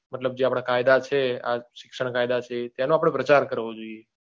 મતલબ જે આપડા કાયદા છે આ શિક્ષણ કાયદા છે તેનો અઆપડે પ્રચાર કરવો જોઈએ.